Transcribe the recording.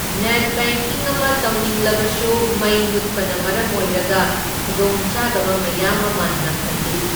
Net banking ꯑꯃ ꯇꯧꯅꯤꯡꯂꯕꯁꯨ ꯃꯩ ꯃꯨꯠꯄꯅ ꯃꯔꯝ ꯑꯣꯏꯔꯒ ꯈꯨꯗꯣꯡꯆꯥꯗꯕ ꯃꯌꯥꯝ ꯑꯃ ꯅꯪꯍꯜꯂꯤ꯫